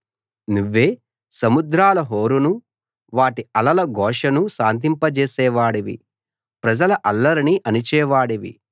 నువ్వే సముద్రాల హోరునూ వాటి అలల ఘోషనూ శాంతింపజేసేవాడివి ప్రజల అల్లరిని అణిచేవాడివి